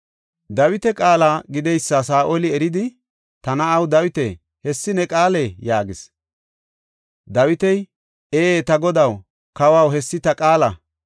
Dawita qaala gideysa Saa7oli eridi, “Ta na7aw Dawita, hessi ne qaalee?” yaagis. Dawiti, “Ee, ta godaw, kawaw, hessi ta qaala.